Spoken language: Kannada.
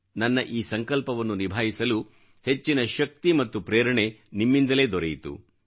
ನನ್ನ ಈ ಸಂಕಲ್ಪವನ್ನು ನಿಭಾಯಿಸಲು ಹೆಚ್ಚಿನ ಶಕ್ತಿ ಮತ್ತು ಪ್ರೇರಣೆ ನಿಮ್ಮಿಂದಲೇ ದೊರೆಯಿತು